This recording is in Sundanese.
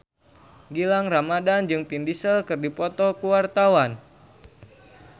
Gilang Ramadan jeung Vin Diesel keur dipoto ku wartawan